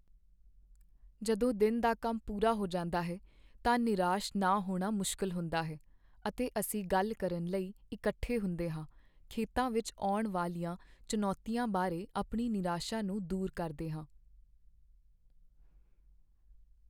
ਜਦੋਂ ਦਿਨ ਦਾ ਕੰਮ ਪੂਰਾ ਹੋ ਜਾਂਦਾ ਹੈ ਤਾਂ ਨਿਰਾਸ਼ ਨਾ ਹੋਣਾ ਮੁਸ਼ਕਲ ਹੁੰਦਾ ਹੈ, ਅਤੇ ਅਸੀਂ ਗੱਲ ਕਰਨ ਲਈ ਇਕੱਠੇ ਹੁੰਦੇ ਹਾਂ, ਖੇਤਾਂ ਵਿੱਚ ਆਉਣ ਵਾਲੀਆਂ ਚੁਣੌਤੀਆਂ ਬਾਰੇ ਆਪਣੀ ਨਿਰਾਸ਼ਾ ਨੂੰ ਦੂਰ ਕਰਦੇ ਹਾਂ।